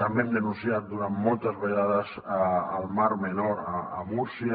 també hem denunciat durant moltes vegades al mar menor a múrcia